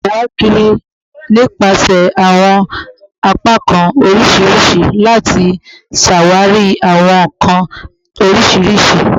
Ṣawakiri nipasẹ awọn apakan oriṣiriṣi lati ṣawari awọn nkan oriṣiriṣi